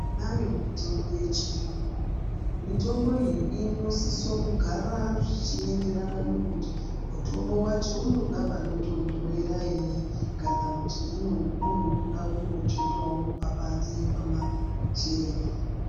Tinayo mitombo yechiyungu. Mitombo iyi inosiso kugara zvichienderana nekuti mutombo wacho unoda panondonhorera here kana kuti unongoda kungotsvetwawo pabanze pamasherefu.